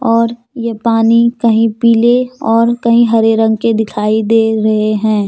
और ये पानी कहीं पीले और कहीं हरे रंग के दिखाई दे रहे हैं।